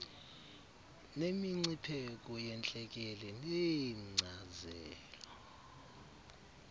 nemingcipheko yentlekele neenkcazelo